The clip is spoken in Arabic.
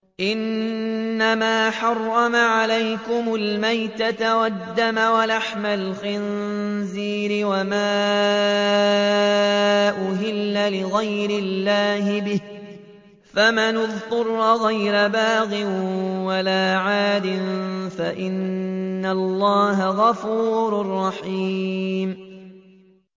إِنَّمَا حَرَّمَ عَلَيْكُمُ الْمَيْتَةَ وَالدَّمَ وَلَحْمَ الْخِنزِيرِ وَمَا أُهِلَّ لِغَيْرِ اللَّهِ بِهِ ۖ فَمَنِ اضْطُرَّ غَيْرَ بَاغٍ وَلَا عَادٍ فَإِنَّ اللَّهَ غَفُورٌ رَّحِيمٌ